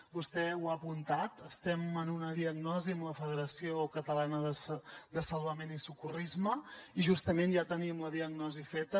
vostè ho ha apuntat estem en una diagnosi amb la federació catalana de salvament i socorrisme i justament ja tenim la diagnosi feta